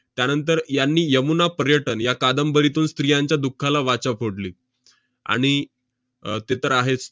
त्यानंतर यांनी 'यमुना पर्यटन' या कादंबरीतून स्त्रियांच्या दुःखाला वाचा फोडली. आणि अह ते तर आहेच.